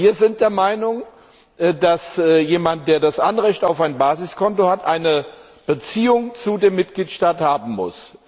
Wir sind der Meinung, dass jemand, der das Anrecht auf ein Basiskonto hat, eine Beziehung zu dem Mitgliedstaat haben muss.